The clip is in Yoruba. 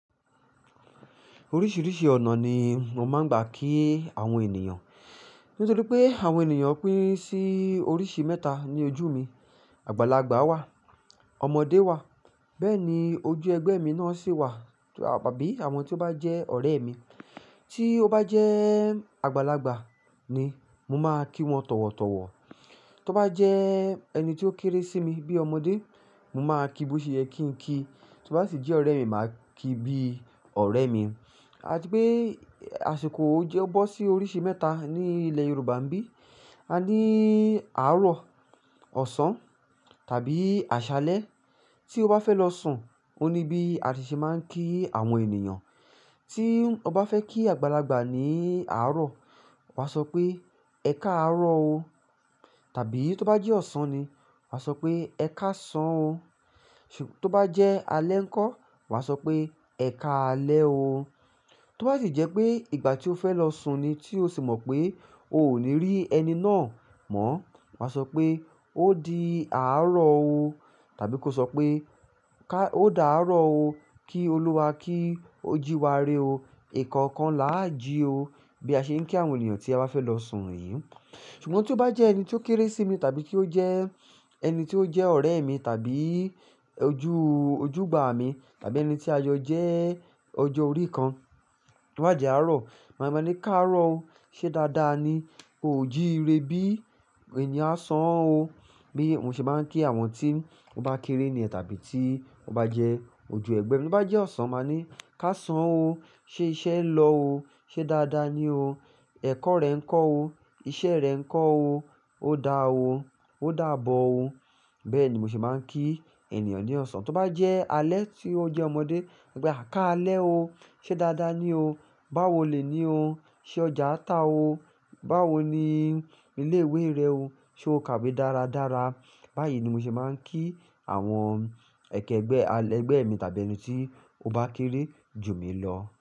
Oríṣiríṣi ọnà ni mo máa n gbà kí ènìyàn nítorí pé àwọn ènìyàn pín sí oríṣi mẹ́ta ní ojú mi. Àgbàlagbà wà, ọmọdé wà, béèni ojú ẹgbẹ mí náà sì wà, àbí awọn to ba jẹ ọrẹ mí tí ó bá jẹ́ àgbàlagbà ni mo má kí wọn tọ̀wọ̀tọ̀wọ̀. Tí ó bá jẹ́ ẹni tí ó kéré sí mi bíi ọmọdé, mo máa kí bo ṣe yẹ kí n kí. Tí ó bá sì jẹ́ ọ̀rẹ́ mi, màá kí bí ọ̀rẹ́ mi. Àti pé, àṣìkò ó jẹ́ bọ́ sí oríṣi mẹ́ta ní ilẹ̀ Yorùbá n bí. A ní àárọ̀, ọ̀sán tàbí àṣálẹ́. Tí o bá fẹ lọ sùn, o ní bí a tí ṣe má kí àwọn ènìyàn tí ọ bá fẹ́ kí àgbàlagbà ní àárọ̀, wàá sọ pé "ẹkáàrọ̀ o" tàbí tí ó bá jẹ́ ọ̀sán ni, wà sọ pé "ẹkásán o". Tó bá jẹ́ alẹ́ ńkọ́, wà á sọ pé "ẹkáalẹ́ o". Tí ó bá sì jẹ́ pé ìgbà tí o fẹ́ lọ sùn ni tí o sì mọ̀ pé o ò ní rí ẹni náà mọ́, wà á sọ pé "ó di àárọ̀ o" tàbí kó sọ pé "ká, ó dàárọ̀ o, kí Olúwa kí ó jí wa ré o. Ọkánkán là á jí o" bí a ṣe ń kí àwọn ènìyàn tí a bá fẹ́ lọ sùn yìí. Ṣùgbọ́n tí ó bá jẹ́ ẹni tí ó kéré sí mi tàbí kí ó jẹ́ ẹni tí ó jẹ́ ọ̀rẹ́ mi tàbí ojú, ojúgbà mi tàbí ẹni tí ajọ jẹ́ ọjọ́ orí kan. Tí owà dì àárọ̀, màá máa ní "káàrọ̀ o, ṣé dáadáa ni? O ò jí ire bí? Ẹ̀ní à sán o" bí mo ṣe má á ń kí àwọn tí ó bá kéré níyè tàbí tí ó bá jẹ́ ojú ẹgbẹ́ mi. Tí ó bá jẹ́ ọ̀sán, màá ní "ká sán o, ṣé iṣẹ́ ń lọ o? Ṣé dáadáa ni o? Ẹkọ n rẹ nkọ o. Iṣẹ́ rẹ ń kọ́ o. O dá o. Ó dàbọ̀ o." Bẹ́ẹ̀ ni mo ṣe máa ń kí ènìyàn ní ọ̀sán. Tí o bá jẹ alẹ̀ tí o jẹ ọmọdé, má sọ pé a káalè ò, se Dàda ní o bá wò lè ní o. Ṣé ọjà tá o? Báwo ni ilé ìwé rẹ o? Ṣé o kàwé dáradára?" Báyìí ni mo ṣe máa ń kí àwọn ẹkẹ ẹgbẹ́, ẹgbẹ́ mi tàbí ẹni tí ó bá kéré jù mí lọ.